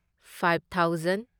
five thousand